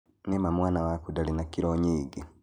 Nĩ ma mwana waku ndarĩ na kirũ nyingĩ